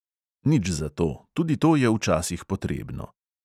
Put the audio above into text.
Nič zato, tudi to je včasih potrebno.